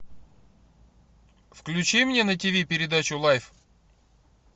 включи мне на ти ви передачу лайф